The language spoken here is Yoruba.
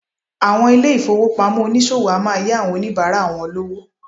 Àwọn ilé-ìfowópamọ́ oníṣòwò a máa yá àwọn oníbàárà wọ lówó.